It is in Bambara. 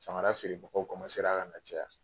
Samara feerebagaw ka na caya